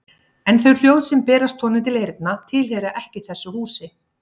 En þau hljóð sem berast honum til eyrna tilheyra ekki þessu húsi.